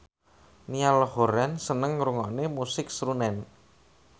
Niall Horran seneng ngrungokne musik srunen